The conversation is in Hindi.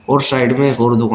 और साइड में एक और दुकान--